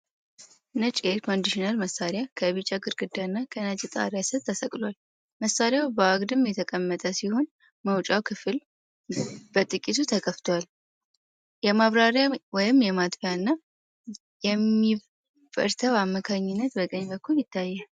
ነጭ የኤር ኮንዲሽነር መሣሪያ ከቢጫ ግድግዳና ከነጭ ጣሪያ ሥር ተሰቅሏል። መሣሪያው በአግድም የተቀመጠ ሲሆን፤ መውጫው ክፍል በጥቂቱ ተከፍቷል። የማብሪያ/ማጥፊያ እና ኢንቨርተር አመልካቾች በቀኝ በኩል ይታያሉ።